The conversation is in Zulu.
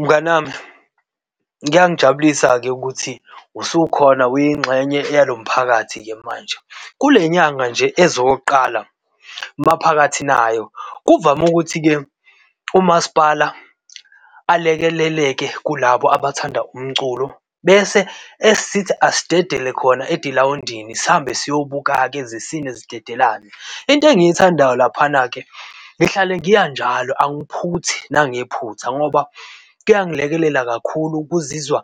Mngani wami kuyangijabulisa-ke ukuthi usukhona uyingxenye yalo mphakathi-ke manje. Kule nyanga nje ezokuqala maphakathi nayo, kuvame ukuthi-ke umasipala alekeleleke kulabo abathanda umculo bese esisithi asidedele khona edila egilawundini sihambe siyobuka-ke zisine zidedelane. Into engiyithandayo laphana-ke, ngihlale ngiya njalo, alungiphuthi nangephutha, ngoba kuyangilekelela kakhulu ukuzizwa.